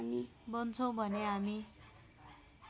बन्छौँ भने हामी